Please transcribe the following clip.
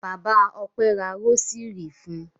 Bàbá Ọpẹ́ ra rósírì fún un.